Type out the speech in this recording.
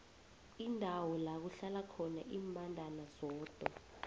indawo lakuhlala khona imbandana zodwa